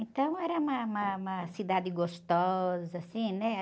Então era uma, uma, uma cidade gostosa, assim, né?